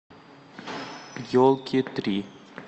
елки три